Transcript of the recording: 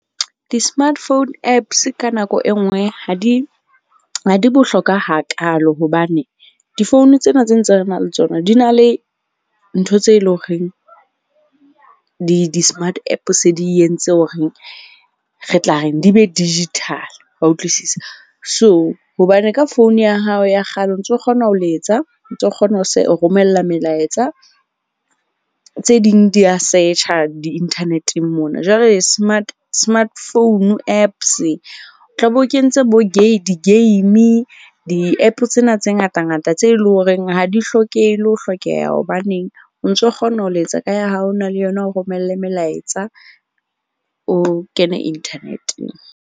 Di-smart phone apps ka nako e nngwe ha di bohlokwa hakaalo hobane difounu tsena tsena tse re nang le tsona di na le ntho tse leng horeng di smart app se di entse horeng re tla reng, di be digital wa utlwisisa? So, hobane ka phone ya hao ya kgale o ntso kgona ho letsa. O ntso kgona ho se ho romella melaetsa. Tse ding di ya search-a di-internet-eng mona. Jwale smart phone apps o tla be o kentse bo di-game, di-app-o tsena tse ngata ngata tse leng horeng ha di hlokehe le ho hlokeha. Hobaneng o ntso kgona ho letsa ka ya hao o na leng yona o romelle melaetsa o kene internet-eng.